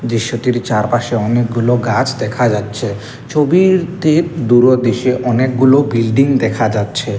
দৃশ্যটির চারপাশে অনেকগুলো গাছ দেখা যাচ্ছে ছবিরতে দূরদেশে অনেকগুলো বিল্ডিং দেখা যাচ্ছে।